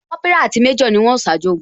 Kópírà àti méjò ni wón o ṣáájú ogun